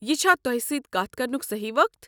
یہِ چھا تۄہہ سۭتۍ کتھ کرنُک صحیح وقت؟